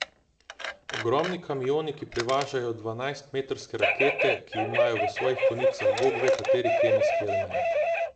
Ogromni kamioni ki prevažajo dvanajst metrske rakete, ki imajo v svojih konicah bogve kateri kemijski element.